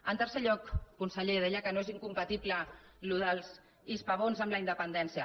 en tercer lloc conseller deia que no és incompatible això dels hispabons amb la independència